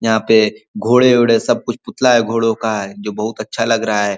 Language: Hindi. यहाँ पे घोड़े वोढे सब कुछ पुतला है घोड़ों का जो बोहोत अच्छा लग रहा है।